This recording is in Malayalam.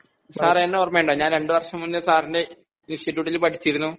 സാറേ എന്നെ ഓർമയുണ്ടോ ഞാൻ രണ്ടു വര്ഷം മുൻപ് സാറിന്റെ ഇൻസ്റ്റിറ്റൂട്ടിൽ പടിച്ചിരുന്നു